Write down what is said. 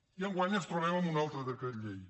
i enguany ens trobem amb un altre decret llei